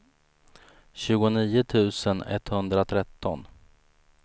tjugonio tusen etthundratretton